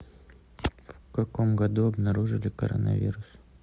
в каком году обнаружили коронавирус